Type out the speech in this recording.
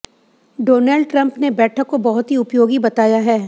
Donald Trump ने बैठक को बहुत ही उपयोगी बताया है